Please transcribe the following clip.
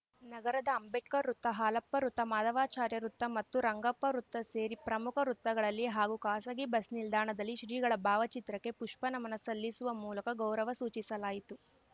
ನಗರದ ಅಂಬೇಡ್ಕರ್‌ ವೃತ್ತ ಹಾಲಪ್ಪ ವೃತ್ತ ಮಾಧವಚಾರ್ಯ ವೃತ್ತ ಮತ್ತು ರಂಗಪ್ಪ ವೃತ್ತ ಸೇರಿ ಪ್ರಮುಖ ವೃತ್ತಗಳಲ್ಲಿ ಹಾಗೂ ಖಾಸಗಿ ಬಸ್‌ನಿಲ್ದಾಣದಲ್ಲಿ ಶ್ರೀಗಳ ಭಾವಚಿತ್ರಕ್ಕೆ ಪುಷ್ಪ ನಮನ ಸಲ್ಲಿಸುವ ಮೂಲಕ ಗೌರವ ಸೂಚಿಸಲಾಯಿತು